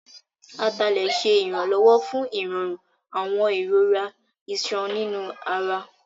Atalẹ̀ ṣé ìrànlọ́wọ́ fún ìrọ̀rùn àwọn ìrora ìṣàn nínú ara